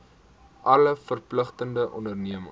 alle verpligtinge onderneem